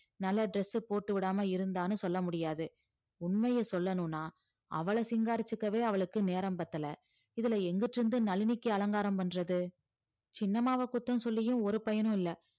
நல்ல dress உ போட்டு விடாம இருந்தான்னு சொல்ல முடியாது உண்மைய சொல்லணும்னா அவள சிங்காரிச்சுக்கவே அவளுக்கு நேரம் பத்தல இதுல எங்க நளினிக்கு அலங்காரம் பண்றது சின்னம்மாவ குத்தம் சொல்லியும் ஒரு பயனும் இல்ல